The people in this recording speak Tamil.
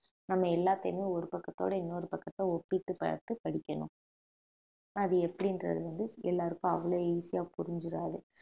நம்ம எல்லாத்தையுமே ஒரு பக்கத்தோட இன்னொரு பக்கத்தை ஒப்பிட்டுப் பார்த்து படிக்கணும் அது எப்படின்றது வந்து எல்லாருக்கும் அவ்வளவு easy ஆ புரிஞ்சிடாது